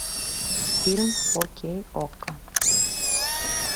фильм фо кей окко